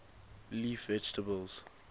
leaf vegetables